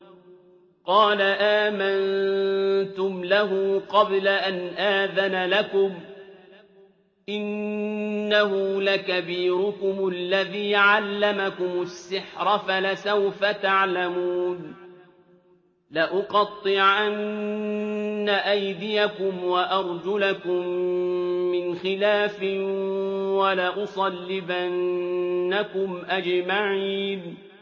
قَالَ آمَنتُمْ لَهُ قَبْلَ أَنْ آذَنَ لَكُمْ ۖ إِنَّهُ لَكَبِيرُكُمُ الَّذِي عَلَّمَكُمُ السِّحْرَ فَلَسَوْفَ تَعْلَمُونَ ۚ لَأُقَطِّعَنَّ أَيْدِيَكُمْ وَأَرْجُلَكُم مِّنْ خِلَافٍ وَلَأُصَلِّبَنَّكُمْ أَجْمَعِينَ